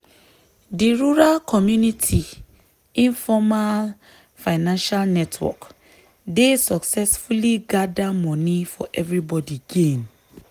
di rural community informal financial network dey successfully gather money for everybody gain.